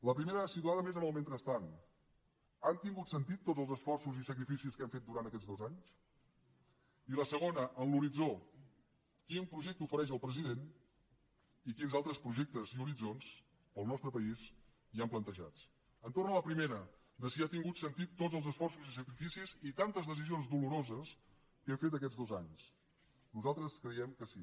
la primera situada més en el mentrestant han tingut sentit tots els esforços i sacrificis que hem fet durant aquests dos anys i la segona en l’horitzó quin projecte ofereix el president i quins altres projectes i horitzons al nostre país hi han plantejats entorn de la primera de si han tingut sentit tots els esforços i sacrificis i tantes decisions doloroses que hem fet aquests dos anys nosaltres creiem que sí